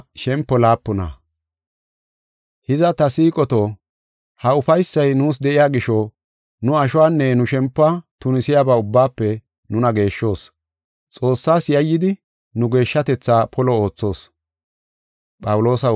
Hiza, ta siiqoto, ha ufaysay nuus de7iya gisho, nu ashuwanne nu shempuwa tunisiyaba ubbaafe nuna geeshshos. Xoossas yayyidi nu geeshshatetha polo oothoos.